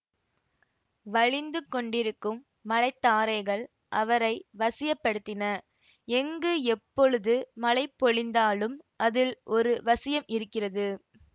வழிந்து கொண்டிருக்கும் மழைத்தாரைகள் அவரை வசியப் படுத்தின எங்கு எப்பொழுது மழை பொழிந்தாலும் அதில் ஒரு வசியம் இருக்கிறது